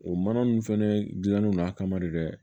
O mana ninnu fɛnɛ dilannen don a kama de dɛ